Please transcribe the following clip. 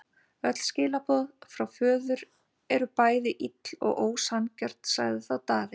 Öll skilaboð frá þínum föður eru bæði ill og ósanngjörn, sagði þá Daði.